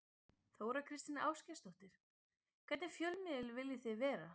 Þóra Kristín Ásgeirsdóttir: Hvernig fjölmiðill viljið þið vera?